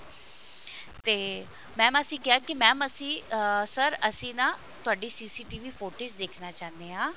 ਤੇ mam ਅਸੀਂ ਕਿਹਾ mam ਕਿ ਅਸੀਂ ਅਹ sir ਅਸੀਂ ਨਾ ਤੁਹਾਡੀ CCTV footage ਦੇਖਣਾ ਚਾਹਨੇ ਹਾਂ